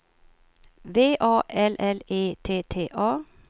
V A L L E T T A